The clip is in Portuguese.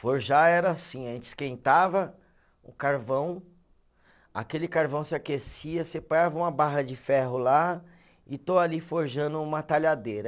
Forjar era assim, a gente esquentava o carvão, aquele carvão se aquecia, você uma barra de ferro lá e estou ali forjando uma talhadeira.